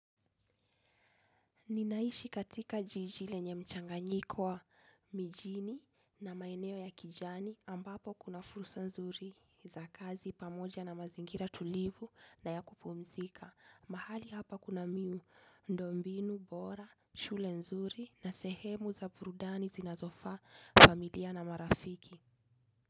Ninaishi katika jiji lenye mchanganyiko wa mijini na maeneo ya kijani ambapo kuna fursa nzuri za kazi pamoja na mazingira tulivu na ya kupumzika. Mahali hapa kuna miundombinu bora, shule nzuri na sehemu za burudani zinazofaa familia na marafiki.